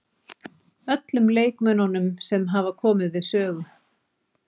Öllum leikmönnunum sem hafa komið við sögu.